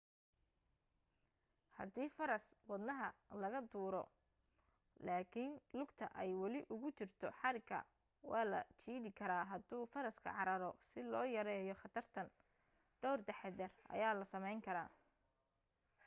hadii faras wadaha laga tuuro laakin lugta ay wali ugu jirto xariga waa la jiidi karaa haduu faraska cararo si loo yareeyo khatartan dhawr taxaddar ayaa la samayn karaa